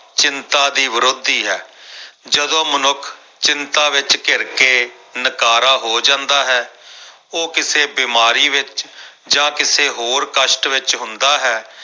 ਚਿੰਤਾ ਦੀ ਵਿਰੋਧੀ ਹੈ ਜਦੋਂ ਮਨੁੱਖ ਚਿੰਤਾ ਵਿੱਚ ਘਿਰ ਕੇ ਨਕਾਰਾ ਹੋ ਜਾਂਦਾ ਹੈ ਉਹ ਕਿਸੇ ਬਿਮਾਰੀ ਵਿੱਚ ਜਾਂ ਕਿਸੇ ਹੋਰ ਕਸ਼ਟ ਵਿੱਚ ਹੁੰਦਾ ਹੈ।